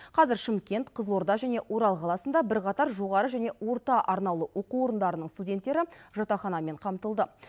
қазір шымкент қызылорда және орал қаласында бірқатар жоғары және орта арнаулы оқу орындарының студенттері жатақханамен қамтылды